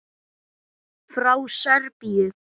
Frá Serbíu.